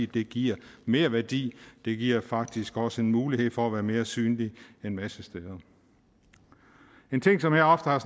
det giver merværdi det giver faktisk også en mulighed for at være mere synlige en masse steder en ting som jeg ofte har